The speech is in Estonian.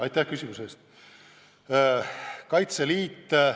Aitäh küsimuse eest!